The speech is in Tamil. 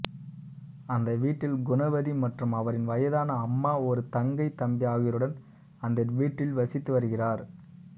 அந்த வீட்டில் குணவதி மற்றும் அவரின் வயதான அம்மா ஒரு தங்கை தம்பி ஆகியோருடன் அந்த வீட்டில் வசித்து வருகிறார்